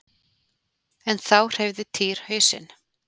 En þá hreyfði Týri hausinn.